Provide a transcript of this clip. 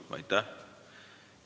Aitäh!